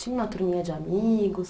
Tinha uma turminha de amigos?